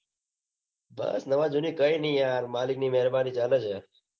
બસ નવા જૂની કઈ નઈ યાર મલિક ની મહેરબાની ચાલે છે.